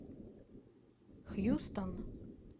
хьюстон